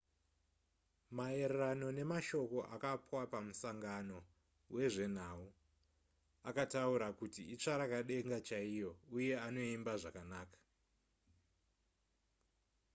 maererano nemashoko akapwa pamusangano wezvenhau akataura kuti itsvarakadenga chaiyo uye anoimba zvakanaka